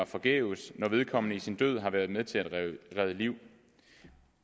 forgæves når vedkommende med sin død har været med til at redde liv